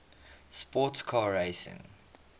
sports car racing